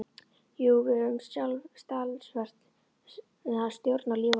Jú, við höfum sjálf talsverða stjórn á lífi okkar.